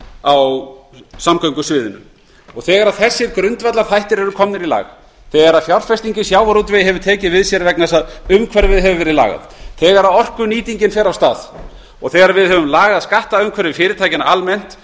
á samgöngusviðinu þegar þessir grundvallarþættir eru komnir í lag þegar fjárfesting í sjávarútvegi hefur tekið við sér af því að umhverfið hefur verið lagað þegar orkunýtingin fer af stað og þegar við höfum lagað skattumhverfi fyrirtækjanna almennt